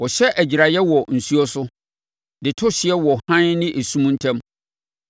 Ɔhyɛ agyiraeɛ wɔ nsuo so de to hyeɛ wɔ hann ne esum ntam.